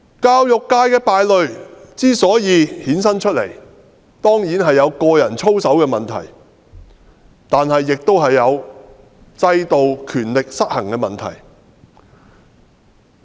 教育界的敗類之所以衍生出來，當然有個人操守的問題，但亦有制度和權力失衡的問題。